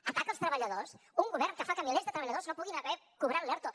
atac als treballadors un govern que fa que milers de treballadors no puguin haver cobrat l’erto